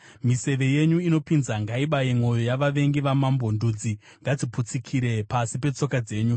Miseve yenyu inopinza ngaibaye mwoyo yavavengi vamambo; ndudzi ngadziputsikire pasi petsoka dzenyu.